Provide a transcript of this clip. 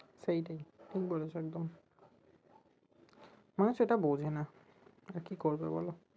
সেইটাই, ঠিক বলেছো একদম মা সেটা বোঝে না আর কি করবে বলো